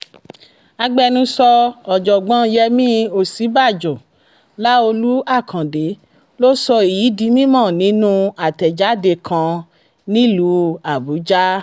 agbẹnusọ ọ̀jọ̀gbọ́n yẹmi òsínbàjò láọ̀lú àkàndé ló sọ èyí di mímọ́ nínú àtẹ̀jáde kan nílùú àbújá